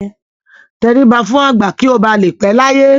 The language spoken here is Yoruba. Tẹríba fún àgbà kí ó ba lè pẹ́ láyé.